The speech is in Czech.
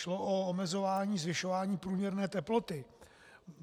Šlo o omezování zvyšování průměrné teploty.